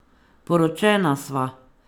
Poročena sva.